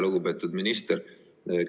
Lugupeetud minister!